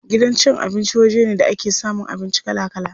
Gidan cin abinci waje ne da ake samun abinci kala kala.